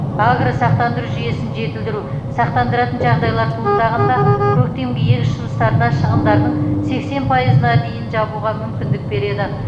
агросақтандыру жүйесін жетілдіру сақтандыратын жағдайлар туындағанда көктемгі егіс жұмыстарына шығындардың сексен пайызына дейін жабуға мүмкіндік береді